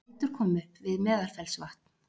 Eldur kom upp við Meðalfellsvatn